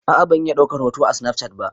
A'a ban iya daukar hoto a snafcat ba.